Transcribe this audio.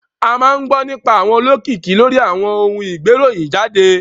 A máa ń gbọ́ nípa àwọn olókìkí lórí àwọn ohun ìgbéròyìn jáde.